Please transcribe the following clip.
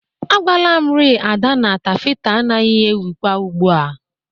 Agwala m ri Ada na tafeta anagị ewikwa ugbu a